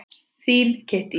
Þín Kittý.